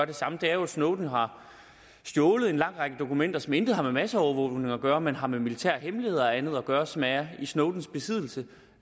det samme er jo at snowden har stjålet en lang række dokumenter som intet har med en masseovervågning at gøre men har med militære hemmeligheder og andet at gøre og som er i snowdens besiddelse